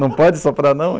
Não pode soprar, não?